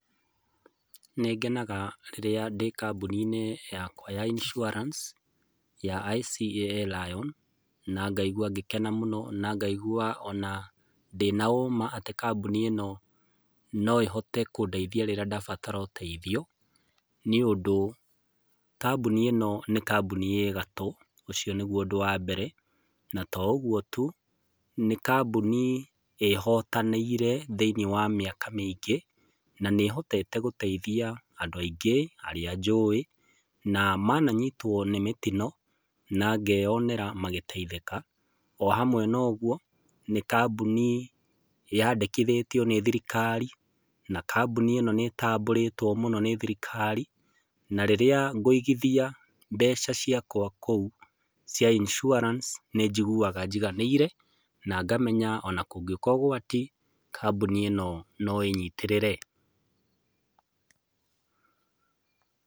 Nĩngenaga rĩrĩa ndĩ kambũni-inĩ yakwa ya insurance, ya ICEA LION, na ngaigua ngĩkena mũno, na ngaigua ona ndĩ na ũma atĩ kambũni ĩno no ĩhote kũndeithia rĩrĩa ndabatara ũteithio, nĩũndũ, kambũni ĩno nĩ kambũni ĩ gatũ, ũcio nĩguo ũndũ wa mbere, na to ũguo tu, nĩ kambũni ĩhotanĩire thĩiniĩ wa mĩaka mĩingĩ, na nĩ ĩhotete gũteithia andũ aingĩ, arĩa njũĩ, na mananyitũo nĩ mĩtino na ngeyonera magĩteithĩka. O hamwe na ũguo, nĩ kambũni yandĩkithĩtio nĩ thirikari, na kambũni ĩno nĩtambũrĩtũo mũno nĩ thirikari, na rĩrĩa ngũigithia mbeca ciakwa kũu cia insurance nĩnjiguaga njiganĩire, na ngamenya ona kũngĩũka ũgwati, kambũni ĩno noĩnyitĩrĩre.